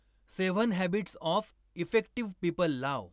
Seven habits of effective people लाव.